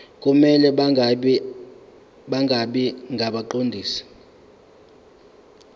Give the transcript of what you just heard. kumele bangabi ngabaqondisi